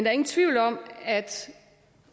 er ingen tvivl om at